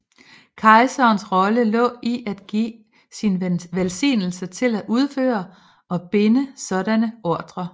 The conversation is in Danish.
Kejserens rolle lå i at give sin velsignelse til at udføre og binde sådanne ordrer